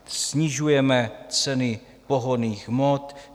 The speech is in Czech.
Snižujeme ceny pohonných hmot.